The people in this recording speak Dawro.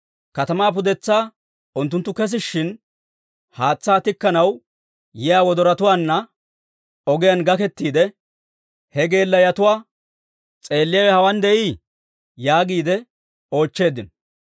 Katamaa pudetsaa unttunttu kesishshin, haatsaa tikkanaw yiyaa wodoratuwaanna ogiyaan gakettiide he geelayotuwaa, «S'eelliyaawe hawaan de'ii?» yaagiide oochcheeddino.